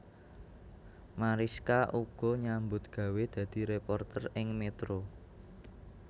Marischka uga nyambut gawé dadi réporter ing Metro